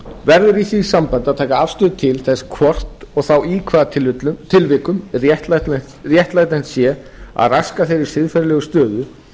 verður í því sambandi að taka afstöðu til þess hvort og þá í hvaða tilvikum réttlætanlegt sé að raska þeirri siðferðilegu stöðu sem